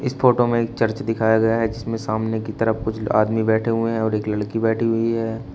इस फोटो में एक चर्च दिखाया गया है जिसमें सामने की तरफ कुछ आदमी बैठे हुए हैं और एक लड़की बैठी हुई है।